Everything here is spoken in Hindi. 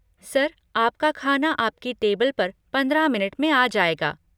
सर, आपका खाना आपकी टेबल पर पंद्रह मिनट में आ जाएगा।